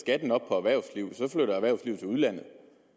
erhvervslivet til udlandet